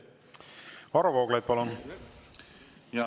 Varro Vooglaid, palun!